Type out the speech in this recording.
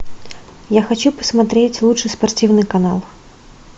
я хочу посмотреть лучший спортивный канал